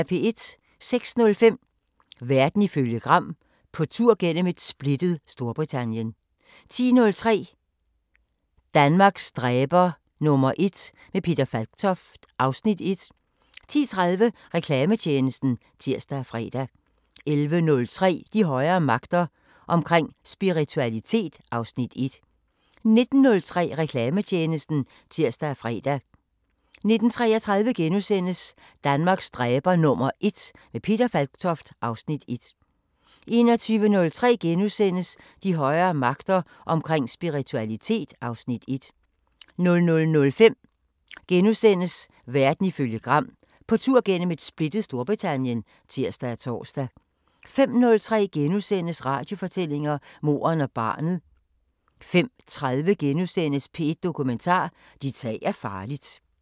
06:05: Verden ifølge Gram: På tur gennem et splittet Storbritannien 10:03: Danmarks dræber #1 – med Peter Falktoft (Afs. 1) 10:30: Reklametjenesten (tir og fre) 11:03: De højere magter: Omkring spiritualitet (Afs. 1) 19:03: Reklametjenesten (tir og fre) 19:33: Danmarks dræber #1 – med Peter Falktoft (Afs. 1)* 21:03: De højere magter: Omkring spiritualitet (Afs. 1)* 00:05: Verden ifølge Gram: På tur gennem et splittet Storbritannien *(tir og tor) 05:03: Radiofortællinger: Moren og barnet * 05:30: P1 Dokumentar: Dit tag er farligt *